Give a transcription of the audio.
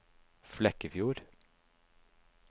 Flekkefjord